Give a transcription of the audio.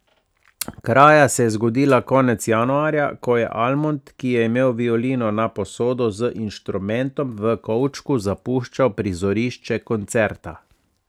Kraja se je zgodila konec januarja, ko je Almond, ki je imel violino na posodo, z inštrumentom v kovčku zapuščal prizorišče koncerta.